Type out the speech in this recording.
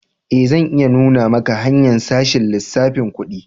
Eh, zan iya nuna maka hanya'n sashen lissafin kudi.